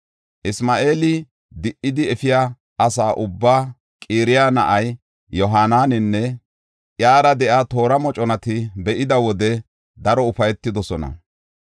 Isma7eeli di77idi efiya asa ubbay Qaraya na7aa Yohaanananne iyara de7iya toora moconata be7ida wode daro ufaytidosona.